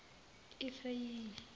efrayimi